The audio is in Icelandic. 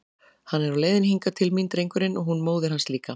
Hann er á leiðinni hingað til mín, drengurinn, og hún móðir hans líka!